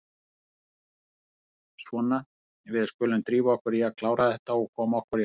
Svona, við skulum drífa okkur í að klára þetta og koma okkur í háttinn.